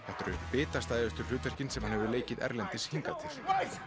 þetta eru bitastæðustu hlutverkin sem hann hefur leikið erlendis hingað til